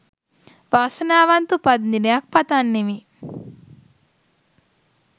වාසනාවන්ත උපන්දිනයක් පතන්නෙමි.